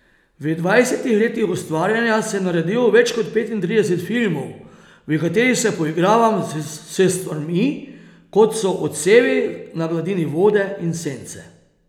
V dvajsetih letih ustvarjanja sem naredil več kot petintrideset filmov, v katerih se poigravam s stvarmi, kot so odsevi na gladini vode in sence.